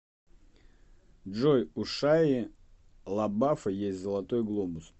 джой у шайи лабафа есть золотой глобус